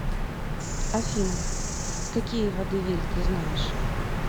афина какие водевиль ты знаешь